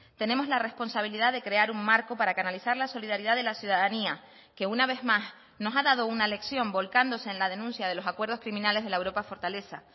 tenemos la responsabilidad de crear un marco para canalizar la solidaridad de la ciudadanía que una vez más nos ha dado una lección volcándose en la denuncia de los acuerdos criminales de la europa fortaleza